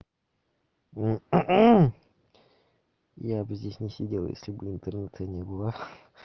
я бы здесь не сидел если бы интернета не было